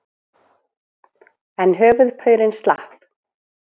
En höfuðpaurinn slapp.